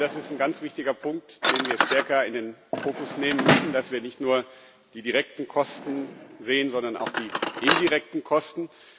Ich glaube, das ist ein ganz wichtiger Punkt, den wir stärker in den Fokus nehmen müssen, dass wir nicht nur die direkten Kosten sehen, sondern auch die indirekten Kosten.